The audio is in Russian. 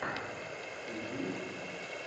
с кейт уинслет